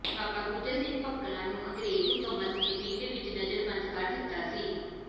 ਬਾਬਾ ਗੁੱਜਰ ਸਿੰਘ ਭਕਨਾ ਨੂੰ ਅੰਗਰੇਜ਼ ਹਕੂਮਤ ਨੇ ਪਿੰਡ ਵਿਚ ਨਜ਼ਰਬੰਦ ਕਰ ਦਿੱਤਾ ਸੀ